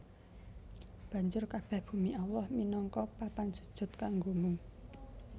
Banjur kabèh bumi Allah minangka papan sujud kanggomu